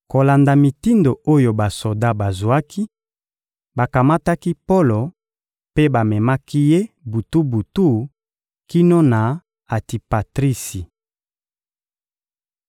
Kolanda mitindo oyo basoda bazwaki, bakamataki Polo mpe bamemaki ye butu-butu kino na Antipatrisi.